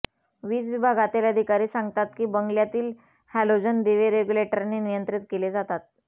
वीज विभागातील अधिकारी सांगतात की बंगल्यातील हॅलोजन दिवे रेग्युलेटरने नियंत्रित केले जातात